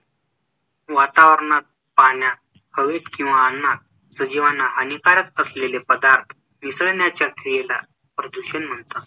वातावरणात, पाण्यात, हवेत किंवा अन्‍नात सजीवांना हानिकारक असलेले पदार्थ मिसळण्याच्या क्रियेला प्रदूषण म्हणतात